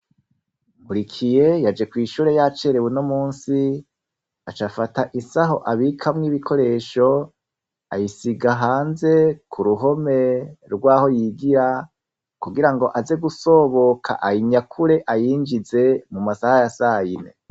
Murikiye yaje kw'ishure y'acerewe no musi aca afata isaho abikamwo ibikoresho ayisiga hanze ku ruhome rwaho yigira kugira ngo aze gusoboka ay inyakure ayinjize mu masaha ya sayine.